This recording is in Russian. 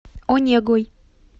онегой